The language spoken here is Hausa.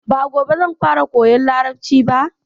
Ba gobe zan fara koyan Larabci ba.